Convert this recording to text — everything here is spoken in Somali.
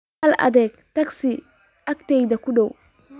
hel adeeg tagsi agteyda kudow